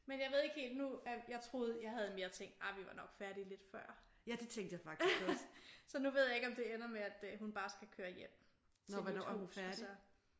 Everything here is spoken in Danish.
Men jeg ved ikke helt nu jeg troede jeg havde mere tænkt ej min vi er nok færdige lidt før. Så nu ved jeg ikke om det ender med at hun bare skal køre hjem til mit hus og så